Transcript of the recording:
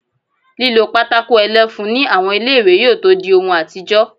Lílo pátákó ẹlẹ́fun ní àwọn ilé-ìwé yóò tó dí ohun àtijọ́